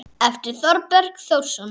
eftir Þorberg Þórsson